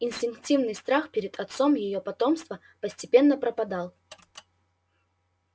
инстинктивный страх перед отцом её потомства постепенно пропадал